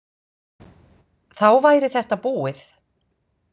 Þá væri þetta búið.